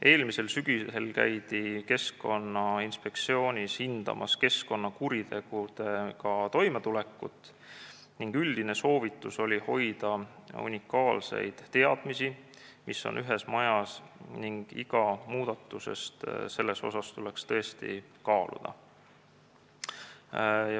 Eelmisel sügisel käidi Keskkonnainspektsioonis hindamas keskkonnakuritegudega toimetulekut ning üldine soovitus oli hoida unikaalseid teadmisi, mis on ühes majas, ning soovitati iga muudatust tõsiselt kaaluda.